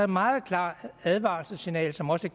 meget klart advarselssignal som også